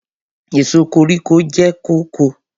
Èso koríko jẹ́ kóko.